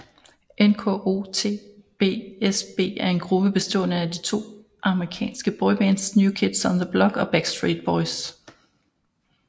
NKOTBSB er en gruppe bestående af de to amerikanske boybands New Kids on the Block og Backstreet Boys